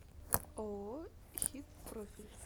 ооо хит профиль